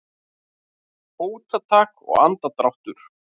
Fótatak og andardráttur.